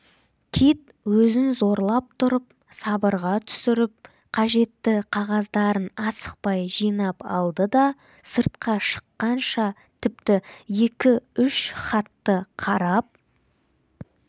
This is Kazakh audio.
кит өзін зорлап тұрып сабырға түсіріп қажетті қағаздарын асықпай жинап алды да сыртқа шыққанша тіпті екі-үш хатты қарап